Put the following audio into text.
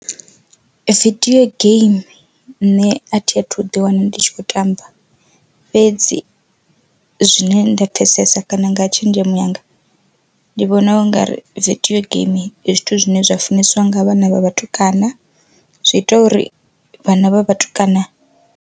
Video games nṋe a thi a thu ḓi wana ndi tshi khou tamba, fhedzi zwine nda pfesesa kana nga tshenzhemo yanga ndi vhona u ngari vidio game ndi zwithu zwine zwa funesiwa nga vhana vha vhatukana zwi ita uri vhana vha vhatukana.